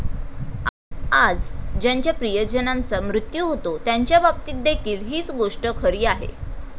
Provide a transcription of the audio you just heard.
आज ज्यांच्या प्रिय जनांचा मृत्यू होतो त्यांच्याबाबतीत देखील हीच गोष्ट खरी आहे.